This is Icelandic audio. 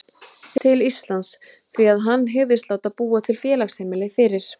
til Íslands, því að hann hygðist láta búa út félagsheimili fyrir